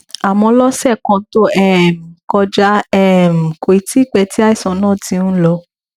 àmọ lọsẹ kan tó um kọjá um kò tíì pẹ tí àìsàn náà ti ń lọ